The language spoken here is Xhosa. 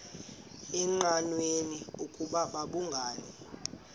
engqanweni ukuba babhungani